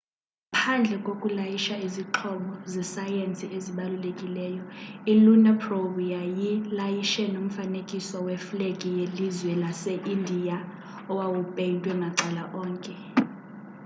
ngaphandle kokulayisha izixhobo zesayensi ezibalulekileyo i-lunar probe yayilayishe nomfanekiso weflegi yelizwe lase-indiya owawupeyntwe macala onke